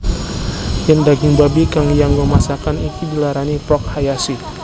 Yen daging babi kang dianggo masakan iki diarani Pork Hayashi